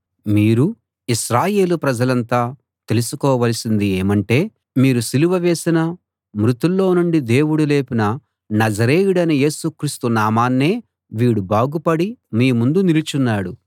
మీరూ ఇశ్రాయేలు ప్రజలంతా తెలుసుకోవలసింది ఏమంటే మీరు సిలువ వేసిన మృతుల్లో నుండి దేవుడు లేపిన నజరేయుడైన యేసుక్రీస్తు నామాన్నే వీడు బాగుపడి మీ ముందు నిలుచున్నాడు